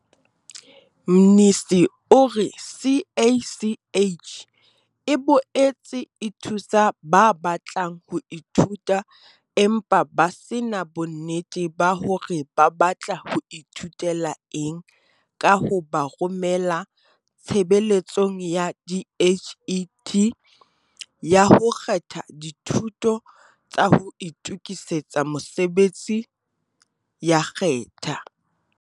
Mnisi o re CACH e boetse e thusa ba batlang ho ithuta empa ba se na bonnete ba hore ba batla ho ithutela eng ka ho ba romela Tshebeletsong ya DHET ya ho kgetha Dithuto tsa ho Itokisetsa Mosebetsi ya Khetha.